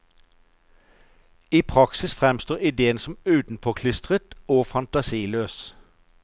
I praksis fremstår idéen som utenpåklistret og fantasiløs.